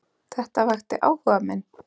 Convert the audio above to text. Þetta vakti áhuga minn.